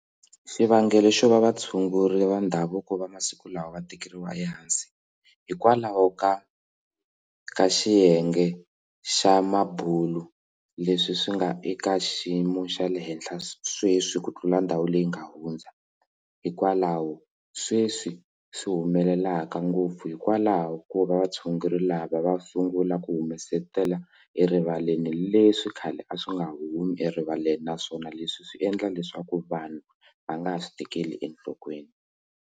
Xivangelo xo va vatshunguri va ndhavuko va masiku lawa va tekeriwa ehansi hikwalaho ka ka xiyenge xa mabulo leswi swi nga eka xiyimo xa le henhla sweswi ku tlula ndhawu leyi nga hundza hikwalaho sweswi swi humelelaka ngopfu hikwalaho ko va vatshunguri lava va sungula ku humesetela erivaleni leswi khale a swi nga humi erivaleni naswona leswi swi endla leswaku vanhu va nga ha swi tekeli enhlokweni.